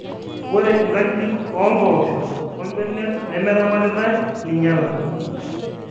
ore inkajijik oo mbooosho ombenek nimeramatitae ninyala